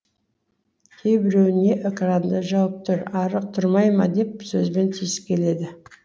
кейбіреуі не экранды жауып тұр ары тұрмай ма деп сөзбен тиіскеледі